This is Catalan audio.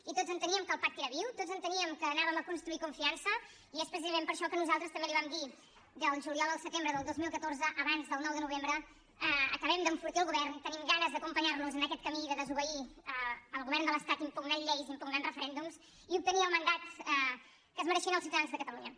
i tots enteníem que el pacte era viu tots enteníem que anàvem a construir confiança i és precisament per això que nosaltres també li vam dir del juliol al setembre del dos mil catorze abans del nou de novembre acabem d’enfortir el govern tenim ganes d’acompanyar los en aquest camí de desobeir el govern de l’estat impugnant lleis i impugnant referèndums i obtenir el mandat que es mereixien els ciutadans de catalunya